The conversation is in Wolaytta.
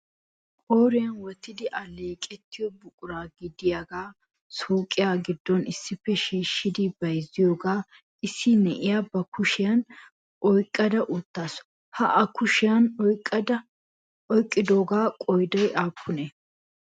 Qooriyan wottidi alleeqetiyo buquraa gidiyaaga suuqiya giddon issippe shiishshidi bayzziyooga issi na'iyaa ba kushiyan oyqqada uttaasu. Ha a kushiyaan oyqqidooga qooday aappune?